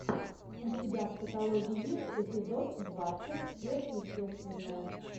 у тебя в каталоге есть эпизод двадцать сверхъестественное